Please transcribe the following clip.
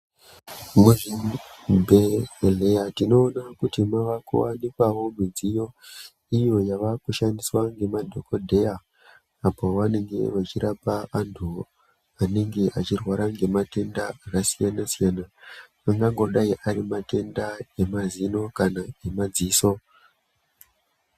Muzvibhedhlera tinoona kuti makuwanikwawo mudziyo iyo yavakushandiswa nemadhokodheya apo pavanenge vachirapa vantu anenge achirwara nematenda akasiyana siyana, angangodayi ari matenda emazino kana emadziso.